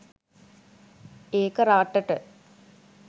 ඒක රටට